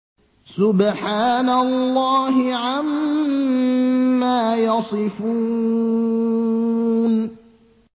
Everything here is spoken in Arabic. سُبْحَانَ اللَّهِ عَمَّا يَصِفُونَ